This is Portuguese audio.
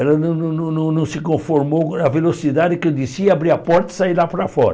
Ela não não não não não se conformou com a velocidade que eu desci, e abrir a porta e saí lá para fora.